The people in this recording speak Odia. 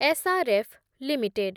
S R F limited